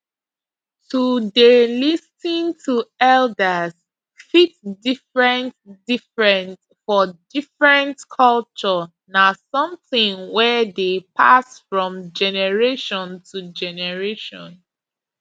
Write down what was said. to dey lis ten to elders fit different different for different culture na something wey dey pass from generation to generation